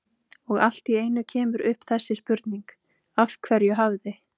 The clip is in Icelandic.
Og allt í einu kemur upp þessi spurning: Af hverju hafði